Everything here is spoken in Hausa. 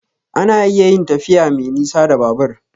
A na iya yin tafiya me nisa da Babur